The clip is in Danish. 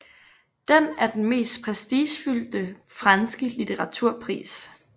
Den er den mest prestigefyldte franske litteraturpris